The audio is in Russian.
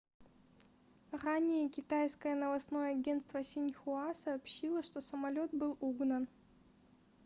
ранее китайское новостное агентство синьхуа сообщило что самолет был угнан